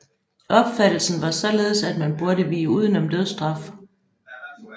Opfattelsen var således at man burde vige udenom dødsstraf